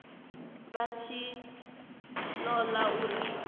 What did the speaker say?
vha tshi ṱo ḓa uri